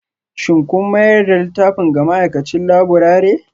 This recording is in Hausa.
Shin kun mayar da littafin ga ma'aikacin laburare?